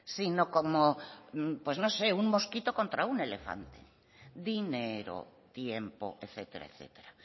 sino como pues no sé un mosquito contra un elefante dinero tiempo etcétera etcétera